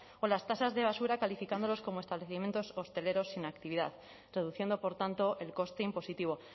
o las tasas de basura calificándolos como establecimientos hosteleros sin actividad reduciendo por tanto el coste impositivo